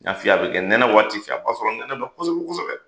N y'a f'i ye, a bɛ kɛ nɛnɛ waati fɛ, a b b'a sɔrɔ nɛnɛ ba kosɛbɛ!